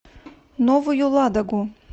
новую ладогу